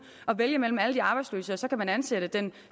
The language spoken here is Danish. og vælge mellem alle de arbejdsløse og så kan man ansætte den